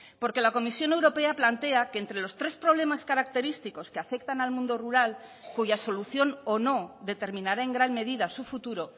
porque la comisión europea plantea que entre los tres problemas característicos que afectan al mundo rural cuya solución o no determinará en gran medida su futuro